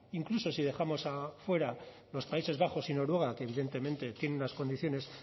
incluso si dejamos fuera a los países bajos y noruega que evidentemente tienen unas condiciones